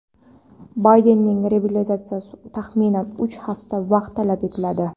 Baydenning reabilitatsiyasi uchun taxminan uch hafta vaqt talab etiladi.